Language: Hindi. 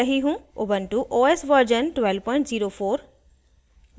* ubuntu os version 1204